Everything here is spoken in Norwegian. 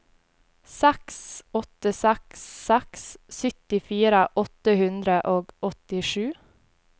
seks åtte seks seks syttifire åtte hundre og åttisju